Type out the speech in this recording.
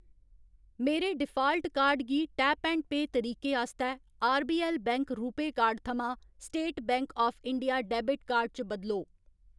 मेरे default card गी tap and pay तरीके आस्तै आरबीऐल्ल बैंक रूपेऽ कार्ड थमां State Bank of India debit card च बदलो।